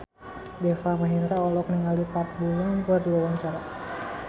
Deva Mahendra olohok ningali Park Bo Yung keur diwawancara